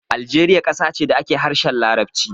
Aljeriya ƙasa ce da ake harshen Larabci.